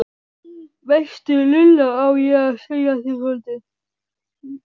veistu Lulla, á ég að segja þér soldið?